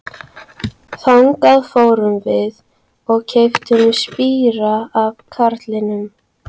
Þangað fórum við og keyptum spíra af karlinum.